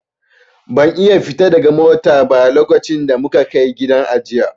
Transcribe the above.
Ban iya fita daga motar ba lokacin da muka Kai gidan ajiye.